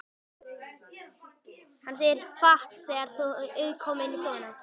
Hann segir fátt þegar þau koma inn í stofuna.